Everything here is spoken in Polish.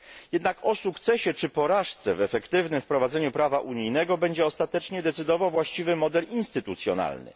Jednak o sukcesie czy porażce w efektywnym wprowadzeniu prawa unijnego będzie ostatecznie decydował właściwy model instytucjonalny.